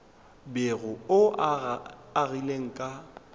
bego o o agile ka